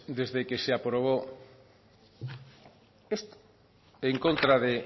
desde que se aprobó esto en contra de